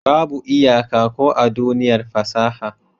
Babu iyaka ko a duniyar fasaha.